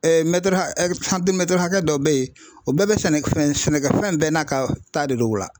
hakɛ hakɛ dɔ be yen, o bɛɛ be sɛnɛfɛn sɛnɛkɛfɛn bɛɛ n'a ka ta de don o la.